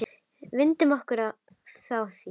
Vindum okkur þá í það.